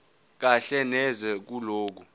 kahle neze kulokho